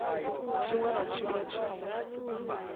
tshiṅwe na tshiṅwe tshi si